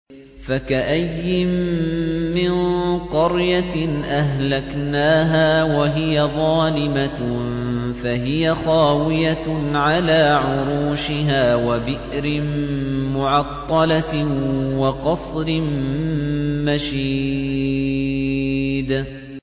فَكَأَيِّن مِّن قَرْيَةٍ أَهْلَكْنَاهَا وَهِيَ ظَالِمَةٌ فَهِيَ خَاوِيَةٌ عَلَىٰ عُرُوشِهَا وَبِئْرٍ مُّعَطَّلَةٍ وَقَصْرٍ مَّشِيدٍ